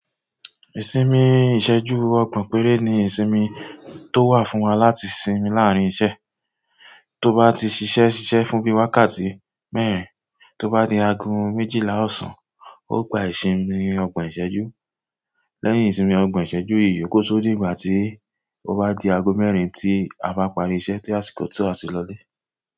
Ìsinmi ìsẹ́jú ọgbọ̀n péré ni ìsinmi tó wà fún wa láti sinmi láàárín iṣẹ́. Tó bá ti ṣiṣẹ́ ṣiṣẹ́ fún bí i wákàtí mẹ́rin, tó bá di aago méjìlá ọ̀sán, ó gba ìsinmi ọgbọ̀n ìṣẹ́jú. Lẹ́yìn ìsinmi ogbon ìṣẹ́jú yìí, kó tó dì ìgbà tí ó bá di aago mẹ́rin tí a bá parí iṣẹ́ tí àsìkò to a ti lọ ilé.